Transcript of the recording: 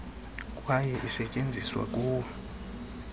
kwaye isetyenziswa kuwo